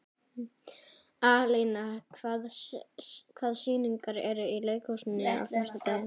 Alína, hvaða sýningar eru í leikhúsinu á föstudaginn?